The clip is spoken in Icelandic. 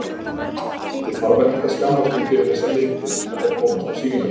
Ég þarf ekkert að skammast mín fyrir þessar myndir, ef þær komast á sýninguna.